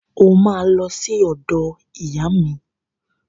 O máa lọ sí ọ̀dọ̀ ìyá mi